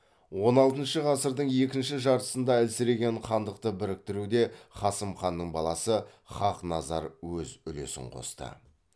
он алтыншы ғасырдың екінші жартсында әлсіреген хандықты біріктіруде қасым ханның баласы хақназар өз үлесін қосты